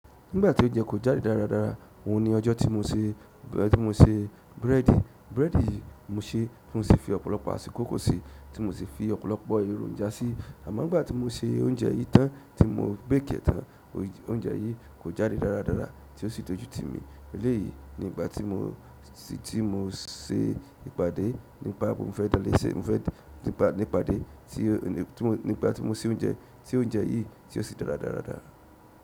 Nígbà tí oúnjẹ kò jáde dáradára, òhun ni ọjọ́ tí mo se búrẹ́dì. Búrẹ́dì yìí mo ṣeé, mo sì fi ọ̀pọ̀lọpọ̀ àkọ́kọ́ síi, tí mo sì fi ọ̀pọ̀lọpọ̀ èròjà síi. Àmọ́ ńgbà tí mo se oúnjẹ yìí tán tí mo bake ẹ̀ tán, oúnjẹ yìí kò jáde dáradára tí ó sì dójú tì mí. Léyìí ni ìgbà tí mo, tí mo ṣe ìpàdé nípa bó bá fẹ́ dá léṣe, mo fẹ́ nípa, ní ìpàdé tí, nípa tí mo se oúnjẹ, tí oúnjẹ yìí tí ó ṣe dára dáradára.